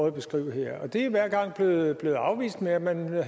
at beskrive her det er hver gang blevet afvist med at man